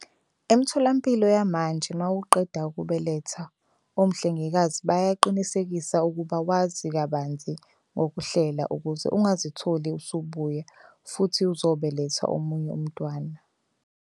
Emtholampilo yamanje mawuqeda ukubeletha omhlengikazi bayaqinisekisa ukuba wazi kabanzi ngokuhlela ukuze ungazitholi usubuya futhi uzobeletha omunye umntwana.